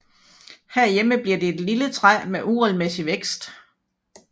Herhjemme bliver det et lille træ med en uregelmæssig vækst